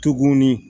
Tugunni